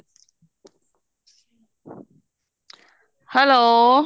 hello